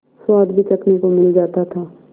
स्वाद भी चखने को मिल जाता था